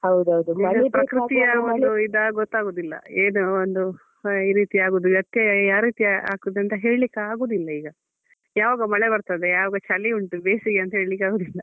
ಇದು ಪ್ರಕೃತಿಯ ಒಂದು ಇದಾ ಗೊತ್ತಾಗುದಿಲ್ಲ ಏನು ಒಂದು ಹಾ ಈ ರೀತಿ ಆಗುದು ವ್ಯತ್ಯಯ ಯಾವ ರೀತಿ ಆಗ್ತದೆ ಅಂತ ಹೇಳ್ಲಿಕ್ಕೆ ಆಗುದಿಲ್ಲ ಈಗ. ಯಾವಾಗ ಮಳೆ ಬರ್ತದೆ ಯಾವಾಗ ಚಳಿ ಉಂಟು ಬೇಸಿಗೆ ಅಂತ ಹೇಳ್ಲಿಕ್ಕೆ ಆಗುದಿಲ್ಲ .